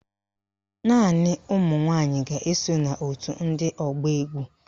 Naanị ụmụnwanyị ga-eso n'òtù ndị ọgba égwú